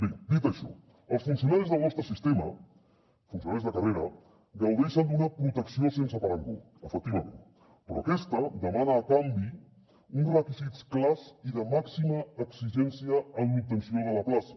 bé dit això els funcionaris del nostre sistema funcionaris de carrera gaudeixen d’una protecció sense parangó efectivament però aquesta demana a canvi uns requisits clars i de màxima exigència en l’obtenció de la plaça